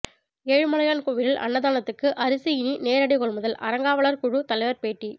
ஏழுமலையான் கோயிலில் அன்னதானத்துக்கு அரிசி இனி நேரடி கொள்முதல் அறங்காவலர் குழு தலைவர் பேட்டி